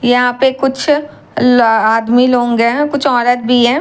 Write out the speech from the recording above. यहां पे कुछ अह आदमी लोग हैं कुछ औरत भी हैं।